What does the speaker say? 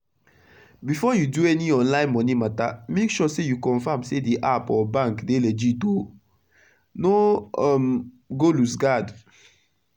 before u do any online moni mata make sure say u confirm say d app or bank dey legit o. no um go loose guard